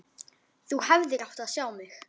Þú hefðir átt að sjá mig!